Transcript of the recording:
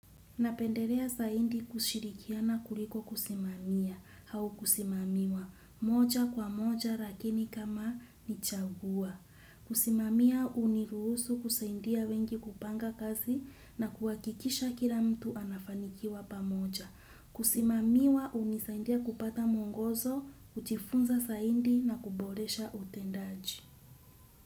Napenderea zaidi kushirikiana kuliko kusimamia au kusimamiwa, moja kwa moja lakini kama ni chagua. Kusimamiwa huniruhusu kusaindia wengi kupanga kazi na kuhakikisha kila mtu anafanikiwa pamoja. Kusimamiwa hunisaidia kupata mwongozo, kujifunza zaidi na kuboresha utendaji.